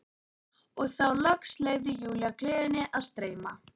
Og þá loks leyfði Júlía gleðinni að streyma.